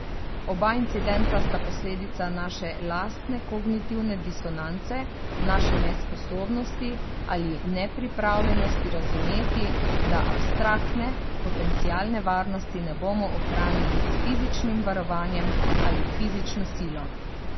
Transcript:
Oba incidenta sta posledica naše lastne kognitivne disonance, naše nesposobnosti ali nepripravljenosti razumeti, da abstraktne, potencialne varnosti ne bomo ohranili s fizičnim varovanjem ali fizično silo.